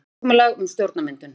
Samkomulag um stjórnarmyndun